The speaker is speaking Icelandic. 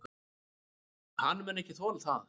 Hann mun ekki þola það.